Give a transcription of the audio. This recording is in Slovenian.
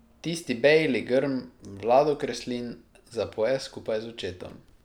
Tisti bejli grm Vlado Kreslin zapoje skupaj z očetom.